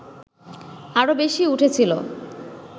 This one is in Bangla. আরও বেশি উঠেছিল